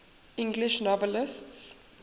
english novelists